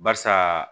Barisa